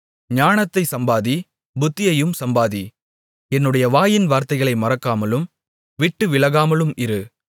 ஞானத்தைச் சம்பாதி புத்தியையும் சம்பாதி என்னுடைய வாயின் வார்த்தைகளை மறக்காமலும் விட்டு விலகாமலும் இரு